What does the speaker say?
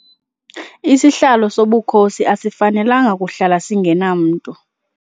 Isihlalo sobukhosi asifanelanga kuhlala singenamntu.